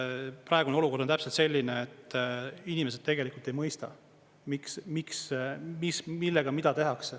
Praegune olukord on täpselt selline, et inimesed tegelikult ei mõista, millega mida tehakse.